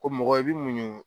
Ko mɔgɔ i bi muɲun